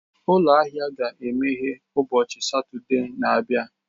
Ụlọ ahịa ahụ ga-emeghe ụbọchị Satọde na-abịa.